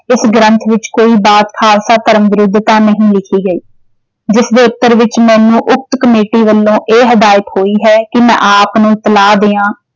ਇਸ ਗ੍ਰੰਥ ਵਿੱਚ ਕੋਈ ਬਾਤ ਖਾਲਸਾ ਧਰਮ ਵਿਰੁੱਧ ਤਾਂ ਨਹੀਂ ਲਿਖੀ ਗਈ ਜਿਸ ਦੇ ਉੱਤਰ ਵਿੱਚ ਮੈਨੂੰ ਉਕਤ ਕਮੇਟੀ ਵੱਲੋਂ ਇਹ ਹਦਾਇਤ ਹੋਈ ਹੈ ਕਿ ਮੈਂ ਆਪ ਨੂੰ ਇਤਲਾਹ ਦਿਆਂ